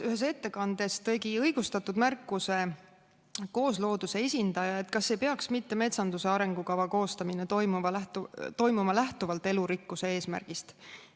Ühes ettekandes tegi õigustatud märkuse SA Koosloodus esindaja, kes küsis, kas ei peaks mitte metsanduse arengukava koostamine toimuma elurikkuse eesmärgist lähtuvalt.